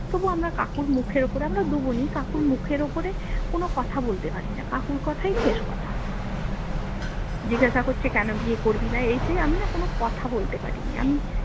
কিন্তু আমরা কাকুর মুখের উপরে আমরা দুই বোনই কাকুর মুখের ওপরে কোনো কথা বলতে পারিনা কাকুর কথাই শেষ কথা জিজ্ঞাসা করছে কেন বিয়ে করবিনা এই সেই আমি না কোনো কথা বলতে পারিনি আমি